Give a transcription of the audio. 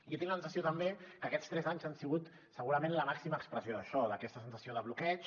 jo tinc la sensació també que aquests tres anys han sigut segurament la màxima expressió d’això d’aquesta sensació de bloqueig